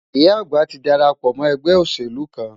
Ìyá àgbà ti darapọ̀ mọ́ ẹgbẹ́ òṣèlú kan.